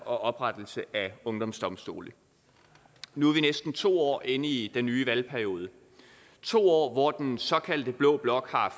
og oprettelse af ungdomsdomstole nu er vi næsten to år inde i den nye valgperiode to år hvor den såkaldte blå blok har